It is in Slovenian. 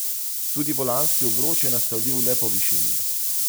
Tudi volanski obroč je nastavljiv le po višini.